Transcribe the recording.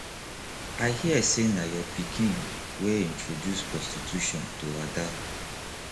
i hear say na your pikin wey introduce prostitution to ada